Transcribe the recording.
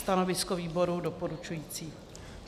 Stanovisko výboru doporučující.